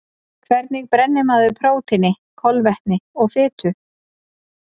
Hvernig brennir maður prótíni, kolvetni og fitu?